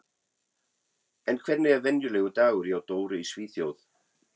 En hvernig er venjulegur dagur hjá Dóru í Svíþjóð?